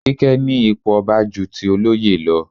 Kíké ní ipò ọba ju ti olóyè lọ.